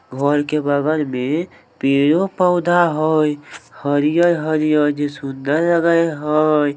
घर के बगल में पेड़ों-पौधा हई हरियर-हरियर जेई सुंदर लगे हई।